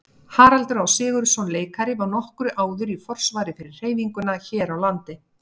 Haraldur Á. Sigurðsson leikari var nokkru áður í forsvari fyrir hreyfinguna hér á landi.